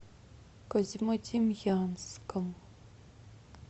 козьмодемьянском